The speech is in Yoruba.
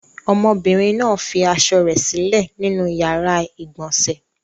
Ọmọbìnrin náà fi aṣọ rẹ̀ sílẹ̀ nínú ìyàrá-ìgbọ̀nsẹ̀.